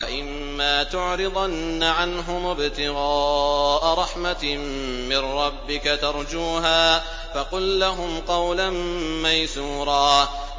وَإِمَّا تُعْرِضَنَّ عَنْهُمُ ابْتِغَاءَ رَحْمَةٍ مِّن رَّبِّكَ تَرْجُوهَا فَقُل لَّهُمْ قَوْلًا مَّيْسُورًا